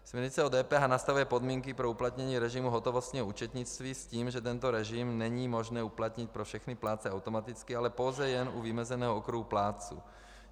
Směrnice o DPH nastavuje podmínky pro uplatnění režimu hotovostního účetnictví s tím, že tento režim není možné uplatnit pro všechny plátce automaticky, ale pouze jen u vymezeného okruhu plátců.